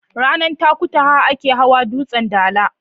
Ranar Takutaha ake hawan dutsen dala.